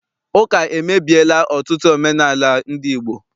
Ụka emebiela ọtụtụ omenaala ndị Igbo.